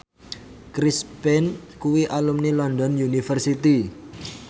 Chris Pane kuwi alumni London University